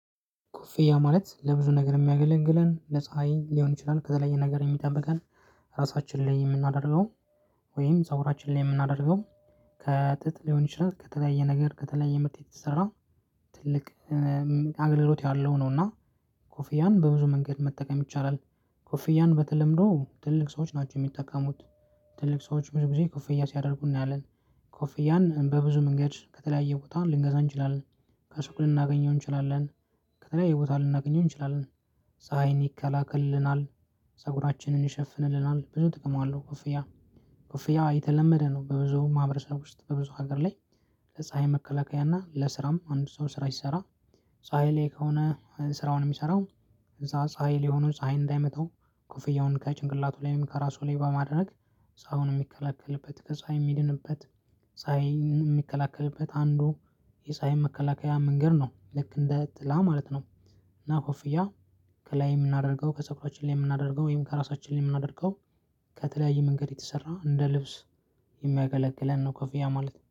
ኩፍያ ማለት ለብዙ ነገር የሚያገለግለን ለፀሀይ ሊሆን ይችላል ከተለያየ ነገር የሚጠበቀን ራሳችን ላይ የምናደርገው ወይም ፀጉራችን ላይ የምናደርገው ከጥጥ ሊሆን ይችላል። ከተለያየ ነገር ከተለያየ ምርት የተሰራ ትልቅ አገልግሎት ያለው ነው። እና ኮፍያም በብዙ መንገድ መጠቀም ይቻላል። ኮፍያን በተለምዶ ትልልቅ ሰዎች ናቸው የሚጠቀሙት። ትልቅ ሰዎች ብዙ ጊዜ ኮፍያ ሲያደርጉ እናያለን። ኮፍያን በብዙ መንገድ ከተለያየ ቦታ ልንገዛ እንችላለን። ከሱቅ ልናገኘው እንችላለን። ከተለያየ ቦታ ልናገኘው እንችላለን። ጸሀይን ይከላከልልናል ፀጉራችንን ይሸፍንልናል ብዙ ጥቅም አለው። ኮፍያ ኮፍያ የተለመደ ነው በብዙ ማህበረሰብ ውስጥ በብዙ ሀገር ላይ። ለፀሀይ መከላከያ እና ለስራም አንድ ሰው ስራ ሲሰራ። ፀሀይ ላይ ከሆነ ስራውን የሚሰራው እዛ ፀሀይ ላይ ሆኑ ፀሀይ እንዳይመታው ኮፍያውን ከጭንቅላቱ ላይም ከራሱ ላይ በማድረግ ጸሃዩን የሚከለከልበት ከዛ የሚድንበት። የሚከላከልበት አንዱ የጸሃይም መከላከያ መንገድ ነው ልክ እንደ ጥላ ማለት ነው። እና ኮፍያ ከላይ የምናደርገው ከጸጉራችን ላይ የምናደርገው ወይም ከራሳችን ላይ የምናደርገው። ከተለያዩ መንገድ የተሰራ እንደ ልብስ የሚያገለግለን ነው። ከፍያ ማለት